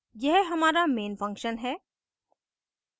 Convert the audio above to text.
यह हमारा main function है